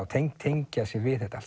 tengja tengja sig við þetta allt